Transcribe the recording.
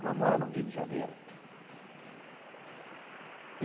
Ela mora no Rio de Janeiro.